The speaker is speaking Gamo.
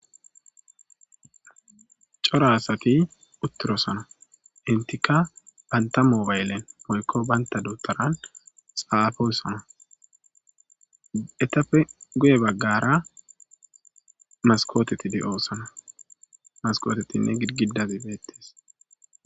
C'ora asati utirosona enitika banta mobaylen woyko banita dudharan xafosona etape guye bagara masikoteti de'osona masikotetinne girigidazi betes.